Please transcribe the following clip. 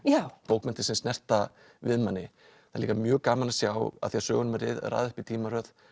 bókmenntir sem snerta við manni það er líka mjög gaman að sjá af því að sögunum er raðað upp í tímaröð